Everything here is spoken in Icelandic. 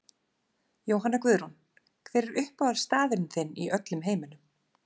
Jóhanna Guðrún Hver er uppáhaldsstaðurinn þinn í öllum heiminum?